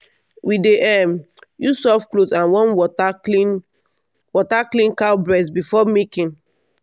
we dey um use soft cloth and warm water clean water clean cow breast before milking.